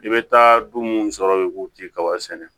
I bɛ taa du mun sɔrɔ i kuba sɛnɛ